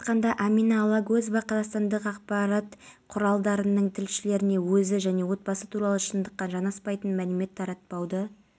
өтінішімен тестілеуге қатыспады түлектерді аудиторияға кіргізу кезінде заң талаптарының бұзылуы орын алған жоқ барлық түлектер